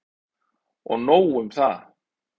Og nóg um það!